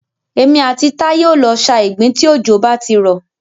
Èmi àti Táyé o lọ sa ìgbín tí òjò bá ti rọ̀.